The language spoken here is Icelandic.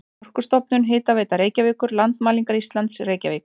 Orkustofnun, Hitaveita Reykjavíkur, Landmælingar Íslands, Reykjavík.